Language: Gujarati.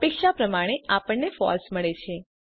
અપેક્ષા પ્રમાણે આપણને ફળસે મળે છે